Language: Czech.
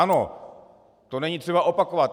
Ano, to není třeba opakovat.